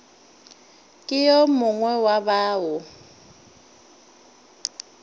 ke yo mongwe wa bao